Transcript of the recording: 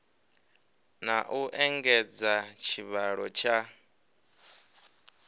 na u engedza tshivhalo tsha